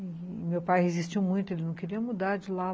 E meu pai resistiu muito, ele não queria mudar de lá.